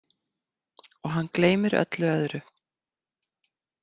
Og hann gleymir öllu öðru.